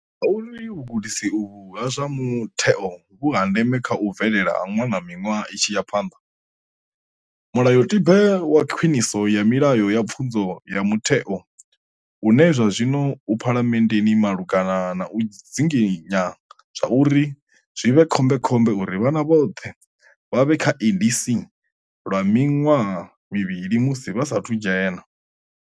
Ngauri vhugudisi uvhu ha zwa mutheo vhu ha ndeme kha u bvelela ha ṅwana miṅwaha i tshi ya phanḓa. Mulayotibe wa Khwiniso ya Milayo ya Pfunzo ya Mutheo une zwa zwino u Phalamenndeni malugana na u dzinginya zwauri zwi vhe khombekhombe uri vhana vhoṱhe vha vhe kha ECD lwa miṅwaha mivhili musi vha sa athu dzhena.